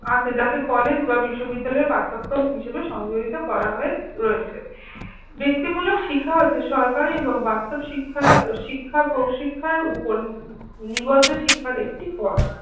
আছে যাতে কলেজ বা বিশ্ববিদ্যালয়ের পাঠ্যক্রম হিসাবে সংযোজিত করা হয়েছে। ব্যক্তিমূলক শিক্ষা হচ্ছে সরকারি এবং বাস্তব শিক্ষা প্রশিক্ষার উপর নিবদ্ধ শিক্ষার একটি পথ।